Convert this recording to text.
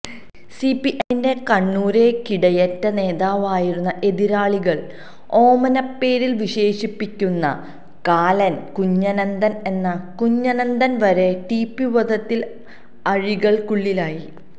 സിപിഎമ്മിന്റെ കണ്ണൂരെ കിടയറ്റ നേതാവായിരുന്ന എതിരാളികൾ ഓമനപ്പേരിൽ വിശേഷിപ്പിക്കുന്ന കാലൻ കുഞ്ഞനന്തൻ എന്ന കുഞ്ഞനന്തൻ വരെ ടിപി വധത്തിൽ അഴികൾക്കുള്ളിലായി